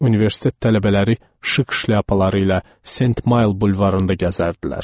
Universitet tələbələri şıq şlyapaları ilə Sent Mayl bulvarında gəzərdilər.